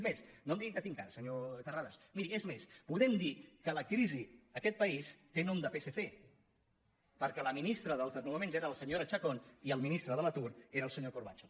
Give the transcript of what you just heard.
és més no em digui que tinc cara senyor ter·rades miri és més podem dir que la crisi a aquest país té nom de psc perquè la ministra dels desnona·ments era la senyora chacón i el ministre de l’atur era el senyor corbacho